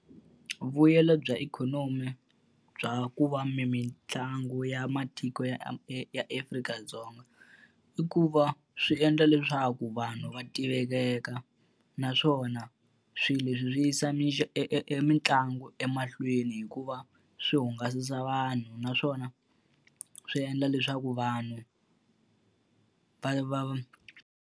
Vuyelo bya ikhonomi bya ku va mitlangu ya matiko ya Afrika-Dzonga, i ku va swi endla leswaku vanhu va tiveka. Naswona swilo leswi swi yisa mitlangu emahlweni hi ku va swi hungasa vanhu naswona swi endla leswaku vanhu va va.